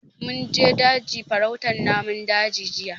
Mun je daji farautan namun daji jiya